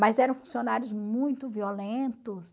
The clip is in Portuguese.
Mas eram funcionários muito violentos.